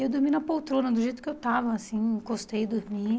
Eu dormi na poltrona, do jeito que eu estava, assim encostei e dormi.